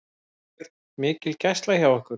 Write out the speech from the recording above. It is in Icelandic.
Björn: Mikil gæsla hjá ykkur?